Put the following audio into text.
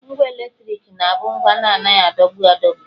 Ngwa eletriki na-abụ ngwa na-anaghị adọgbu adọgbu